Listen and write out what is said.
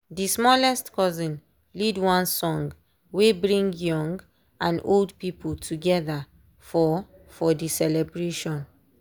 dey smallest cousin lead one song wey bring young and old people together for for dey celebrations.